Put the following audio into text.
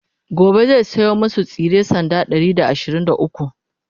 gobe zai saya masu tsire sanda Ɗari da ashirin da ukwu